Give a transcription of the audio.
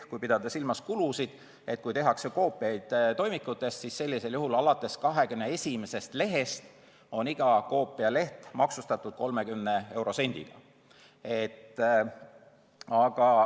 Kui pidada silmas kulusid, näiteks koopiad toimikutest, siis sellisel juhul on alates 21. lehest iga koopialeht maksustatud 30 eurosendiga.